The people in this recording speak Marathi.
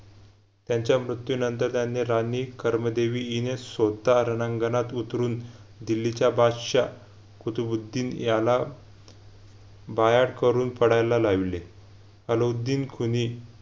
त्यांच्या म्रित्युंनतर त्यांनी राणी कर्मदेवी यिने सोता रणांगणात उतरून दिल्लीच्या बादशाह कुतुबुद्दीन याला बायाड करून पडायला लाविले अलउद्दीन खुनी